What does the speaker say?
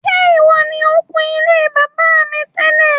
Ṣé ìwọ ni o kun ilé bàbá mi tẹ́lẹ̀?